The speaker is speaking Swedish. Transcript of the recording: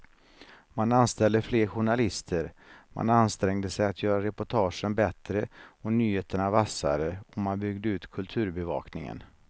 Man anställde fler journalister, man ansträngde sig att göra reportagen bättre och nyheterna vassare och man byggde ut kulturbevakningen.